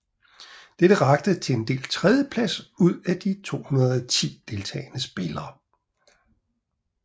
Dette rakte til en delt tredjeplads ud af de 120 deltagende spillere